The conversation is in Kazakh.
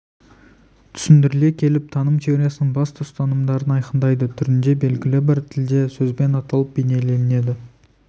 түсіндіріле келіп таным теориясының басты ұстанымдарын айқындайды түрінде белгілі бір тілде сөзбен аталып бейнеленеді